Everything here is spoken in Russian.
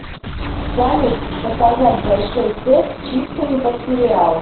салют заказать большой сет с чипсами под сериал